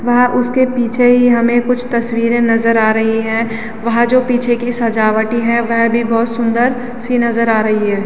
व्हा उसके पीछे ही हमे कुछ तस्वीरे नज़र आ रही हैं वहां जो पीछे की सजावटी हैं वह भी बोहोत सुन्दर सी नज़र आ रही है।